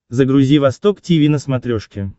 загрузи восток тиви на смотрешке